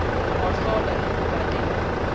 hohlola le ho ba le